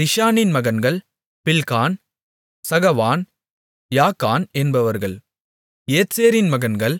திஷானின் மகன்கள் Bilhan Zaavan Jaakan என்பவர்கள் ஏத்சேரின் மகன்கள்